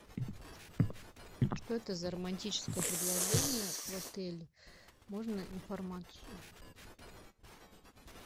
что это за романтическое предложение в отеле можно информацию